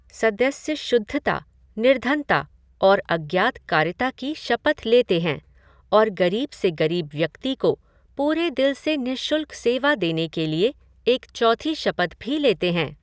सदस्य शुद्धता, निर्धनता, और आज्ञाकारिता की शपथ लेते हैं और गरीब से गरीब व्यक्ति को पूरे दिल से निशुल्क सेवा देने के लिए एक चौथी शपथ भी लेते हैं।